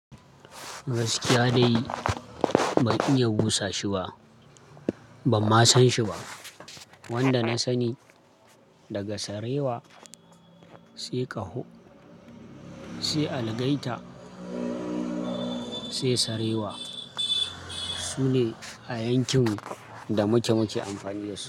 Gaskiya dai ban iya busa shi ba, ban ma san shi ba. Wanda na sani daga sarewa, sai ƙaho, sai algaita, sai sarewa. Shi ne a yankin mu da muke-muke amfani da su.